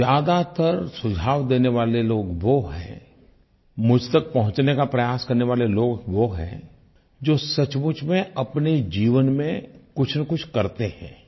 ज़्यादातर सुझाव देने वाले लोग वो हैं मुझ तक पहुँचने का प्रयास करने वाले लोग वो हैं जो सचमुच में अपने जीवन में कुछनकुछ करते हैं